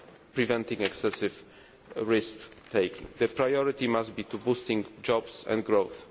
the economy while preventing excessive risk taking. The priority must be to boost